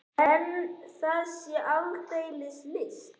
En það sé ekki aldeilis list.